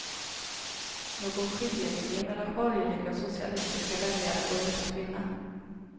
Någon skiljelinje mellan borgerliga och socialistiska väljare går inte att finna.